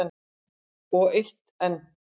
Og eitt enn.